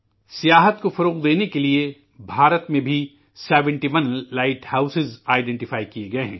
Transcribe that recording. سیاحت کو فروغ دینے کے لیے ہندوستان میں بھی71 لائٹ ہاؤس کی شناخت کی گئی ہے